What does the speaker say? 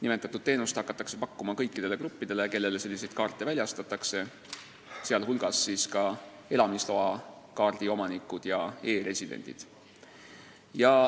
Nimetatud teenust hakatakse pakkuma kõikidele gruppidele, kellele selliseid kaarte väljastatakse, sh siis ka elamisloakaardi omanikud ja e-residendid.